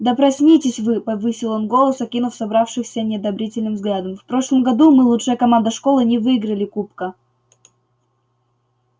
да проснитесь вы повысил он голос окинув собравшихся неодобрительным взглядом в прошлом году мы лучшая команда школы не выиграли кубка